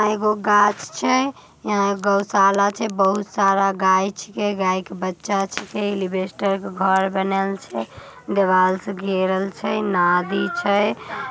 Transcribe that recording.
आ एक गाछ छे। यहाँ गौशाला छे बहुत सारा गाय छिकै गाय के बच्चा छिकै एलिबेस्टर के घर बनल छे दिवाल से घेरल छे नादी छे।